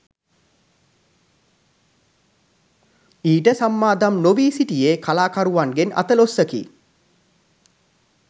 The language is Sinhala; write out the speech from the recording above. ඊට සම්මාදම් නොවී සිටියේ කලාකරුවන්ගෙන් අතලොස්සකි